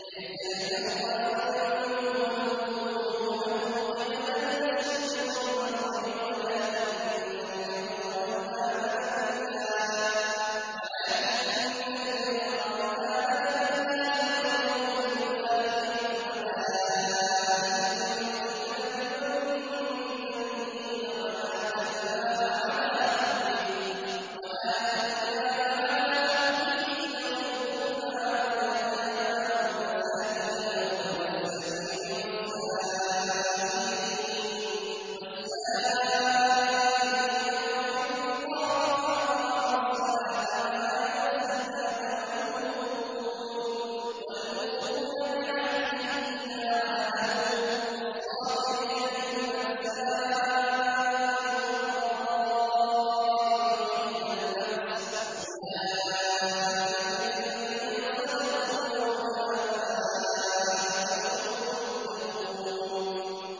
۞ لَّيْسَ الْبِرَّ أَن تُوَلُّوا وُجُوهَكُمْ قِبَلَ الْمَشْرِقِ وَالْمَغْرِبِ وَلَٰكِنَّ الْبِرَّ مَنْ آمَنَ بِاللَّهِ وَالْيَوْمِ الْآخِرِ وَالْمَلَائِكَةِ وَالْكِتَابِ وَالنَّبِيِّينَ وَآتَى الْمَالَ عَلَىٰ حُبِّهِ ذَوِي الْقُرْبَىٰ وَالْيَتَامَىٰ وَالْمَسَاكِينَ وَابْنَ السَّبِيلِ وَالسَّائِلِينَ وَفِي الرِّقَابِ وَأَقَامَ الصَّلَاةَ وَآتَى الزَّكَاةَ وَالْمُوفُونَ بِعَهْدِهِمْ إِذَا عَاهَدُوا ۖ وَالصَّابِرِينَ فِي الْبَأْسَاءِ وَالضَّرَّاءِ وَحِينَ الْبَأْسِ ۗ أُولَٰئِكَ الَّذِينَ صَدَقُوا ۖ وَأُولَٰئِكَ هُمُ الْمُتَّقُونَ